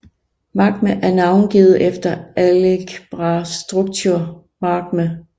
Magma er navngivet efter algebraic structure magma